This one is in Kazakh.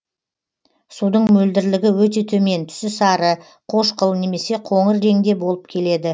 судың мөлдірлігі өте төмен түсі сары қошқыл немесе коңыр реңде болып келеді